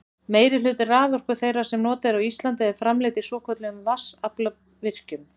meirihluti raforku þeirrar sem notuð er á íslandi er framleidd í svokölluðum vatnsaflsvirkjunum